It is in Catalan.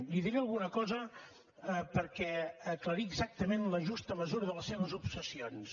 li diré alguna cosa per aclarir exactament la justa mesura de les seves obsessions